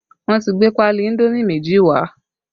Wọn ti gbé pali indomi méjì wá